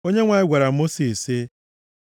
Onyenwe anyị gwara Mosis sị,